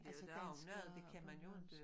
Altså dansk og bornholmsk